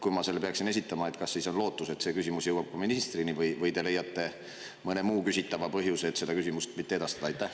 Kui ma selle peaksin esitama, kas siis on lootus, et see küsimus jõuab peaministrini, või te leiate mõne muu küsitava põhjuse, et seda küsimust mitte edastada?